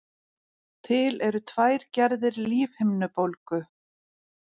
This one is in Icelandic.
til eru tvær gerðir lífhimnubólgu